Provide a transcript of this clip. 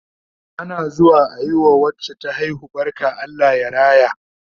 Ana zuwa ayi wa wacce ta haihu barka Allah ya raya